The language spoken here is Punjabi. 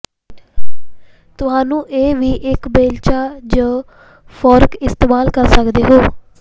ਤੁਹਾਨੂੰ ਇਹ ਵੀ ਇੱਕ ਬੇਲਚਾ ਜ ਫੋਰਕ ਇਸਤੇਮਾਲ ਕਰ ਸਕਦੇ ਹੋ